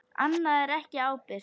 Annað er ekki ábyrgt.